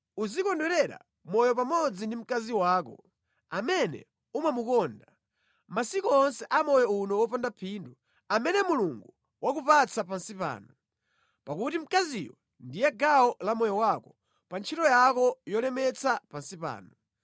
Uzikondwerera moyo pamodzi ndi mkazi wako amene umamukonda, masiku onse a moyo uno wopanda phindu, amene Mulungu wakupatsa pansi pano. Pakuti mkaziyo ndiye gawo la moyo wako pa ntchito yako yolemetsa pansi pano.